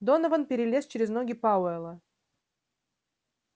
донован перелез через ноги пауэлла